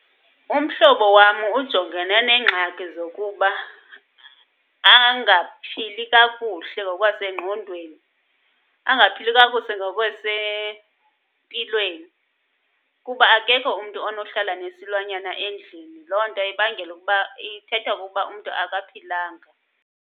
Umhlobo wam ujongene neengxaki zokuba angaphili kakuhle ngokwasengqondweni, angaphili kakuhle ngokwasempilweni kuba akekho umntu onohlala nesilwanyana endlini. Loo nto ibangela ukuba, ithetha ukuba umntu akaphilanga.